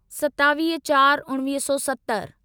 सतावीह चार उणिवीह सौ सतर